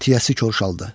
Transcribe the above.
Tiyəsi korşaldı.